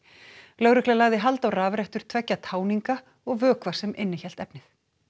lögregla lagði hald á rafrettur tveggja táninga og vökva sem innihélt efnið